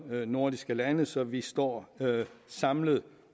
nordiske lande så vi står samlet